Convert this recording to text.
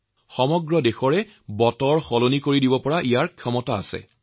এই সকলো ভাৱনাই দেশৰ আমূল পৰিৱৰ্তনৰ শক্তি